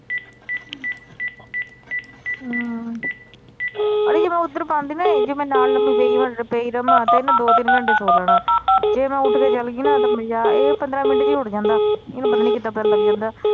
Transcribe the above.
ਹਮ ਅੜੀਏ ਜੇ ਮੈ ਓਧਰ ਪਾਂਦੀ ਨਾ ਜੇ ਮੈ ਨਾਲ ਲੰਮੀ ਪਈ ਰਵਾ ਤੇ ਇਹਨੇ ਦੋ ਤਿੰਨ ਘੰਟੇ ਸੋ ਲੈਣਾ ਜੇ ਮੈ ਉੱਠ ਕੇ ਚਲਗੀ ਨਾ ਤੇ ਇਹ ਪੰਦਰਾਂ ਮਿੰਟ ਚ ਈ ਉੱਠ ਜਾਂਦਾ ਇਹਨੂੰ ਪਤਾ ਨਹੀਂ ਕੀਤਾ ਪਤਾ ਲਗ ਜਾਂਦਾ।